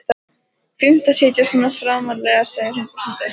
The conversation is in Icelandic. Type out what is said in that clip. Fínt að sitja svona framarlega, segir hún brosandi.